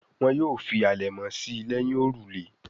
Wón yóò ṣe fí alẹmọ sí léhìn òrùlé.